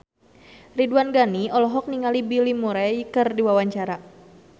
Ridwan Ghani olohok ningali Bill Murray keur diwawancara